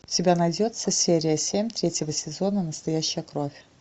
у тебя найдется серия семь третьего сезона настоящая кровь